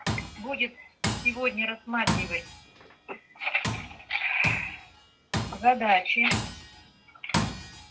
будет сегодня рассматривать задачи